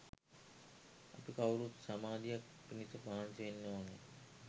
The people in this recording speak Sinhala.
අපි කවුරුත් සමාධියක් පිණිස මහන්සි වෙන්න ඕන